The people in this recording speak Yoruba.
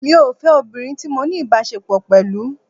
Mi ò fẹ́ obìnrin tí mo ní ìbáṣepọ̀ pẹ̀lú.